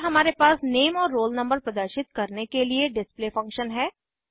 फिर हमारे पास नेम और रोल नंबर प्रदर्शित करने के लिए डिस्प्ले फंक्शन है